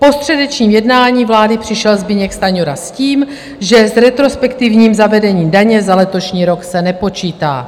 Po středečním jednání vlády přišel Zbyněk Stanjura s tím, že s retrospektivním zavedením daně za letošní rok se nepočítá.